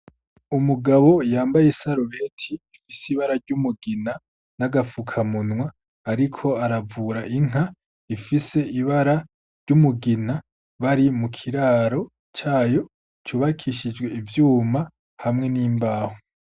Umugabo yambaye isarubeti rifise ibara ry'umugina n'agafukamunwa ariko aravura inka rifise ibara ry'umugina bari mukiraro cayo cubakishijwe ivyuma hamwe n'imbaho.